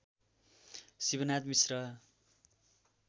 Shivnath Mishra